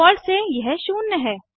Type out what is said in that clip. default से यह शून्य है